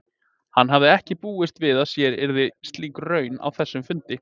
Hann hafði ekki búist við að sér yrði slík raun að þessum fundi.